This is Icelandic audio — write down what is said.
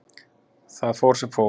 Það fór sem fór.